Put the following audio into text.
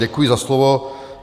Děkuji za slovo.